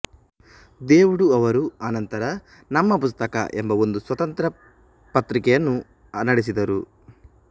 ದೇವುಡು ಅವರು ಅನಂತರ ನಮ್ಮ ಪುಸ್ತಕ ಎಂಬ ಒಂದು ಸ್ವತಂತ್ರ ಪತ್ರಿಕೆಯನ್ನೂ ನಡೆಸಿದರು